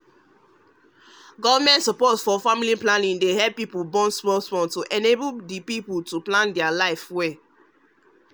government support for family planning dey help people born small small to enable the people to plan their life well